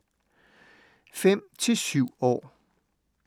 5-7 år